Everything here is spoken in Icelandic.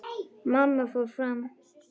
Mamma fór fram.